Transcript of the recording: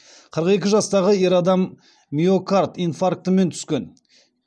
қырық екі жастағы ер адам миокард инфарктімен түскен